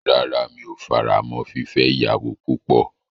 Rárá, mi o faramọ́ fífẹ́ ìyàwó púpọ̀.